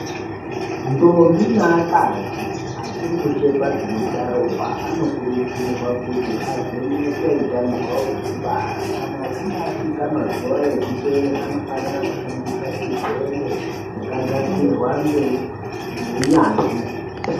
Ndombi neakadzi achiri kuchekwa dzinobuda ropa, anokurudzirwa kuti avhenekwe utano hwavo hwekubara, kana achinge asvika mazuva ekuteera anofanira kushandisa chidhende chakagadzirwa ngeu ngeunyanzvi.